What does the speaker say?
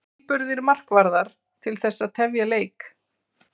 Tilburðir markvarðar til þess að tefja leik?